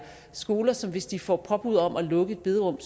skoler som hvis de får påbud om at lukke et bederum